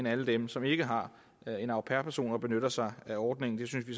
alle dem som ikke har en au pair person og ikke benytter sig af ordningen det synes vi